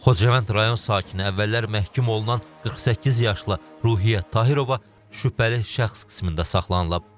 Xocavənd rayon sakini əvvəllər məhkum olunan 48 yaşlı Ruhiyyət Tahirova şübhəli şəxs qismində saxlanılıb.